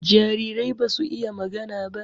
Jarirai basu iya magana ba